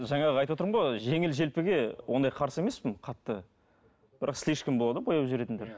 жаңағы айтып отырмын ғой жеңіл желпіге ондай қарсы емеспін қатты бірақ слишком болады ғой бояп жіберетіндер